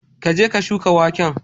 ka je ka shuka waken.